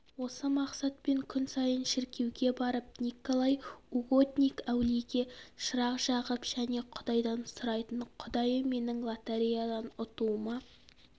осы мақсатпен күн сайын шіркеуге барып николай угодник әулиеге шырақ жағып және құдайдан сұрайтын құдайым менің лотереядан ұтуыма